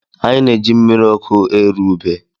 Anyị na-eji mmiri ọkụ eru ubé.